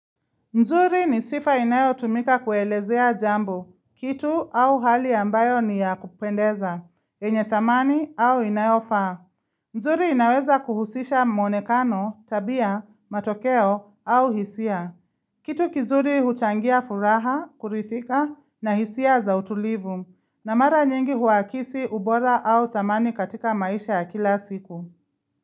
Nzuri ni sifa inayo tumika kuelezea jambo, kitu au hali ambayo ni ya kupendeza, yenye thamani au inayofaa. Nzuri inaweza kuhusisha mwonekano, tabia, matokeo au hisia. Kitu kizuri huchangia furaha, kurithika na hisia za utulivu, na mara nyingi huakisi ubora au thamani katika maisha ya kila siku.